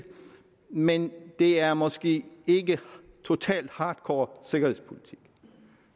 men det er måske ikke totalt hardcore sikkerhedspolitik